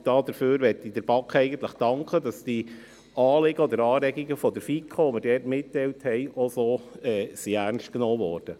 Ich möchte der BaK danken, dass sie die Anliegen der FiKo ernst genommen hat.